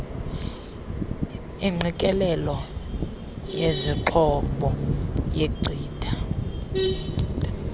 ingqikelelelo yezixhobo yenkcitha